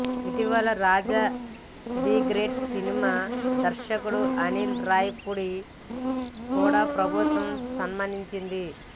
ఇటీవల Raja the great సినిమా దర్శకుడు అనిల్ రావిపూడి ని కూడా ప్రభుత్వం సన్మానించింది